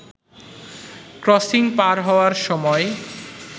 crossing পার হওয়ার সময়